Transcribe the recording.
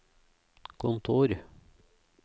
kontor